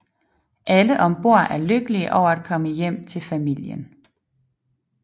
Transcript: Alle om bord er lykkelige over at komme hjem til familien